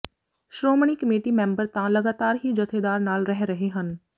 Shiromani committee member ਤਾਂ ਲਗਾਤਾਰ ਹੀ ਜਥੇਦਾਰ ਨਾਲ ਰਹਿ ਰਹੇ ਹਨ